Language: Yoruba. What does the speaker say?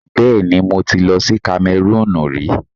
Bẹẹni, mo ti lọ sí Kamẹrúùnù rí.